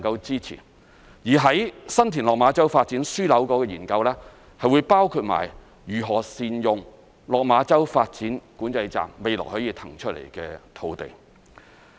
在新田/落馬洲發展樞紐的研究，將會包括如何善用落馬洲邊境管制站未來可以騰出的土地。